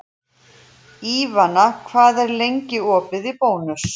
Ívana, hvað er lengi opið í Bónus?